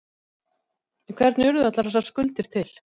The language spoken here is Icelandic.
En hvernig urðu allar þessar skuldir til?